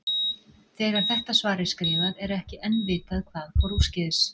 Þegar þetta svar er skrifað, er ekki enn vitað hvað fór úrskeiðis.